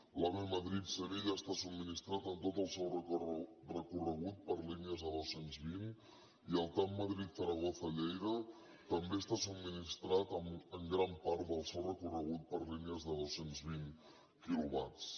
l’ave madrid sevilla està subministrat en tot el seu recorregut per línies de dos cents i vint i el tav madrid zaragoza lleida també està subministrat en gran part del seu recorregut per línies de dos cents i vint quilowatts